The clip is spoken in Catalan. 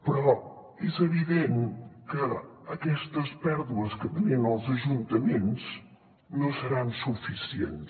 però és evident que aquestes pèrdues que tenien els ajuntaments no seran suficients